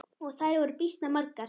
Og þær voru býsna margar.